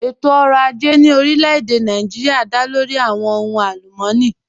Ẹ̀tọ̀-ọ̀rọ̀ àjẹ̀ ní orílẹ̀-èdè Nàìjíríà dá lórí awọn ọ̀hùn alùmọ́nì